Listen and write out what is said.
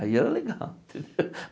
Aí era legal, entendeu?